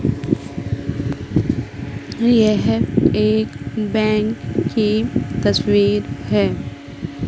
यह एक बैंक की तस्वीर हैं।